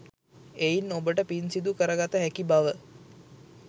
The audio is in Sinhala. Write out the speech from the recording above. එයින් ඔබට පින් සිදු කරගත හැකි බව